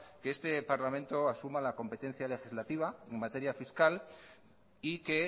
que este parlamento asuma la competencia legislativa en materia fiscal y que